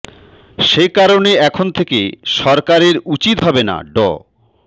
সে কারণে এখন থেকে সরকারের উচিত হবে না ড